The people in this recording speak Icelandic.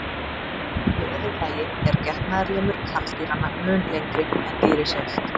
Í öðru lagi er getnaðarlimur karldýranna mun lengri en dýrið sjálft.